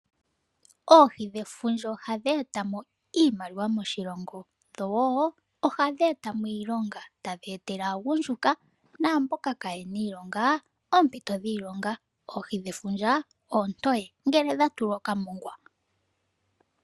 Oohi dhefundja ohadhi eta mo iimaliwa moshilongo, dho wo ohadhi eta mo iilonga, tadhii etele aagundjuka ,naamboka kaa ye na iilonga, oompito dhiilonga. Oohi dhefundja oontoye, ngele dha tulwa okamongwa.